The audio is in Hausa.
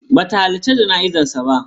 Ba ta halarci jana'izar sa ba.